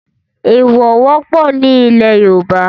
Ẹ̀ẹ̀wọ̀ wọ́pọ̀ ní ilẹ̀ Yorùbá